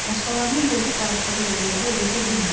Başqalarının dözüb barışdığı vəziyyətə o dözə bilmirdi.